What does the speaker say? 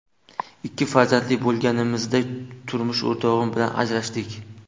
Ikki farzandli bo‘lganimizda turmush o‘rtog‘im bilan ajrashdik.